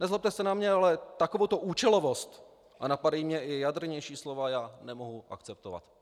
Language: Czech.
Nezlobte se na mě, ale takovouto účelovost - a napadají mě i jadrnější slova - já nemohu akceptovat.